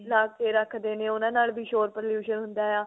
ਲਾ ਕੇ ਰੱਖਦੇ ਨੇ ਉਹਨਾ ਨਾਲ ਵੀ ਸ਼ੋਰ ਪ੍ਰਦੂਸ਼ਨ ਹੁੰਦਾ ਆ